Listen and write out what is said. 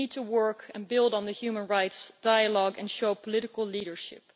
We need to work and build on the human rights dialogue and show political leadership.